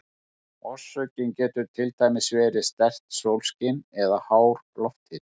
Orsökin getur til dæmis verið sterkt sólskin eða hár lofthiti.